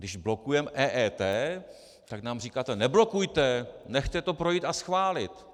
Když blokujeme EET, tak nám říkáte: Neblokujte, nechte to projít a schválit.